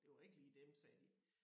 Det var ikke lige dem sagde de